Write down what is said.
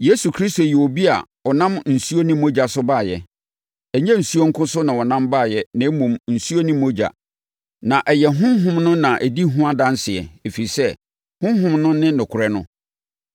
Yesu Kristo yɛ obi a ɔnam nsuo ne mogya so baeɛ. Ɛnyɛ nsuo nko so na ɔnam baeɛ na mmom, nsuo ne mogya. Na ɛyɛ Honhom no na ɛdi ho adanseɛ ɛfiri sɛ, Honhom no ne nokorɛ no.